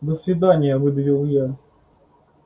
до свидания выдавил я